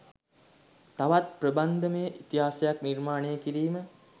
තවත් ප්‍රබන්ධමය ඉතිහාසයක් නිර්මාණය කිරීම